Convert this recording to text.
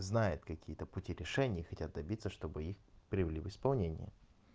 знает какие-то пути решения и хотят добиться чтобы их привели в исполнение